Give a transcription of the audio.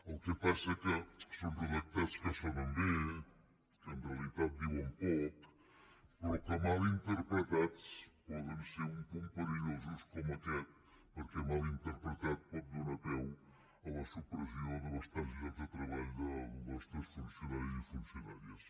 el que passa que són redactats que sonen bé que en realitat diuen poc però que mal interpretats poden ser un punt perillosos com aquest perquè mal interpretat pot donar peu a la supressió de bastants llocs de treball dels nostres funcionaris i funcionàries